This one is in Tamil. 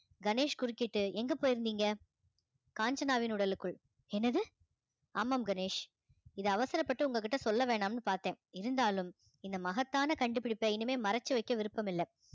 கணேஷ் குறுக்கிட்டு எங்க போயிருந்தீங்க காஞ்சனாவின் உடலுக்குள் என்னது ஆமாம் கணேஷ். இதை அவசரப்பட்டு உங்க கிட்ட சொல்ல வேணாம்னு பார்த்தேன் இருந்தாலும் இந்த மகத்தான கண்டுபிடிப்பை இனிமே மறைச்சு வைக்க விருப்பமில்ல